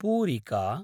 पूरिका